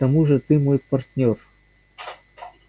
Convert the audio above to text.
к тому же ты мой партнёр